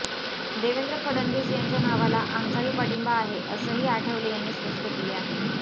देवेंद्र फडणवीस यांच्या नावाला आमचाही पाठिंबा आहे असंही आठवले यांनी स्पष्ट केले आहे